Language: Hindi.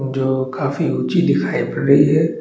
जो काफी ऊँची दिखाई पड़ रही है।